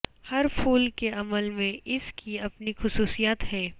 ہر پھول کے عمل میں اس کی اپنی خصوصیات ہیں